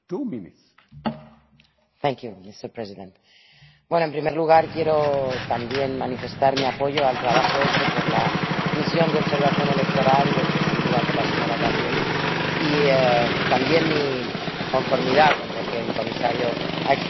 Señor presidente, en primer lugar, quiero manifestar mi apoyo al trabajo hecho por la misión de observación electoral presidida por la señora Gabriel y, también, mi conformidad con lo que el comisario ha expresado en relación con Gabón.